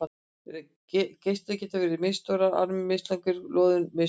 Reislur geta verið misstórar, armarnir mislangir og lóðin misþung.